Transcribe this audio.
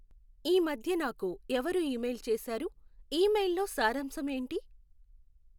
ఈ మధ్య నాకు ఎవరు ఇమెయిల్ చేశారు, ఇమెయిల్ లో సారాంశం ఏంటి